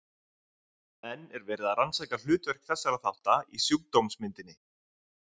Enn er verið að rannsaka hlutverk þessara þátta í sjúkdómsmyndinni.